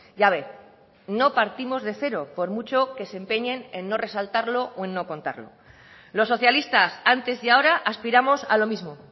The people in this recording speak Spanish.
ya ve no partimos de cero por mucho que se empeñen en no resaltarlo o en no contarlo los socialistas antes y ahora aspiramos a lo mismo